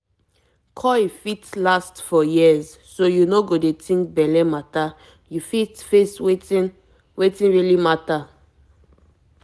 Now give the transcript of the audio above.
coil fit last for years so you no go dey think belle matter you fit face wetin wetin really matter.